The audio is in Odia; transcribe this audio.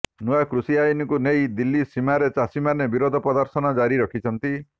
ନୂଆ କୃଷି ଆଇନକୁ ନେଇ ଦିଲ୍ଲୀ ସୀମାରେ ଚାଷୀମାନେ ବିରୋଧ ପ୍ରଦର୍ଶନ ଜାରି ରଖିଛନ୍ତି